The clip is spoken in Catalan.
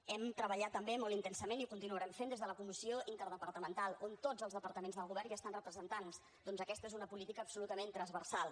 hem treballat també molt intensament i ho continuarem fent des de la comissió interdepartamental on tots els departaments del govern hi estan representats ja que aquesta és una política absolutament transversal